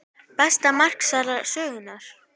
Besta markvarsla sögunnar?